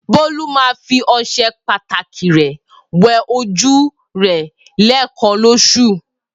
Bolu ma fi ọṣẹ pataki rẹ wẹ oju rẹ lẹẹkan loṣu.